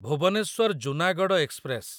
Bhubaneswar Junagarh express